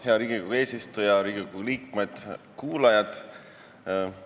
Hea Riigikogu eesistuja, Riigikogu liikmed ja kuulajad!